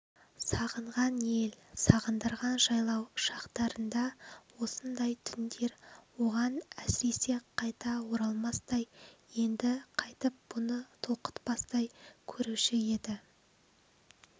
сағынған ел сағындырған жайлау шақтырында осындай түндер оған есіресе қайта оралмастай енді қайтып бұны толқытпастай көруші еді